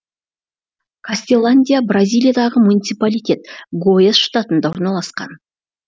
кастеландия бразилиядағы муниципалитет гояс штатында орналасқан